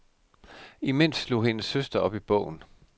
Imens slog hendes søster op i bogen.